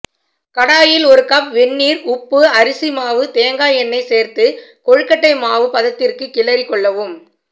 கடாயில் ஒரு கப் வெந்நீர் உப்பு அரிசி மாவு தேங்காய் எண்ணெய் சேர்த்து கொழுக்கட்டை மாவு பதத்திற்கு கிளறிக் கொள்ளவும்